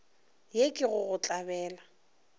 ye ke go go tlabela